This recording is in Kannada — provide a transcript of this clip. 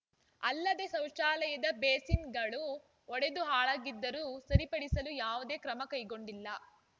ಅಲ್ಲದೆ ಶೌಚಾಲಯದ ಬೇಸಿನ್‌ಗಳು ಒಡೆದು ಹಾಳಾಗಿದ್ದರೂ ಸರಿಪಡಿಸಲು ಯಾವುದೇ ಕ್ರಮಕೈಗೊಂಡಿಲ್ಲ